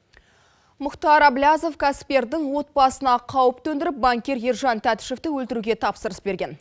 мұхтар әблязов кәсіпкердің отбасына қауіп төндіріп банкир ержан татишевті өлтіруге тапсырыс берген